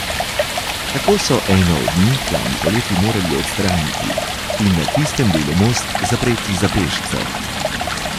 Tako so eno od njih lani poleti morali odstraniti in na tistem delu most zapreti za pešce.